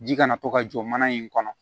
Ji kana to ka jɔ mana in kɔnɔ